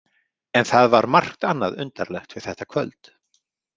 En það var margt annað undarlegt við þetta kvöld.